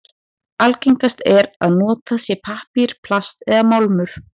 Algengast er að notað sé pappír, plast eða málmur.